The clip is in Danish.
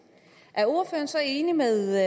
er ordføreren så enig med